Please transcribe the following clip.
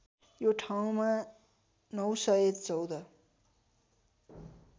यो ठाउँमा ९१४